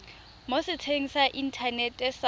mo setsheng sa inthanete sa